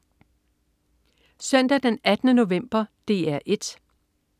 Søndag den 18. november - DR 1: